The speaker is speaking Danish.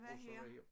Russerne ja